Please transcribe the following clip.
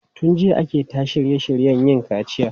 Tun jiya ake ta shirye shiryen yin kaciya.